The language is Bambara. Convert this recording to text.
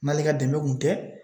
N'ale ka dɛmɛ kun tɛ